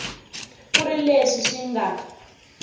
ku ri leswi swi nga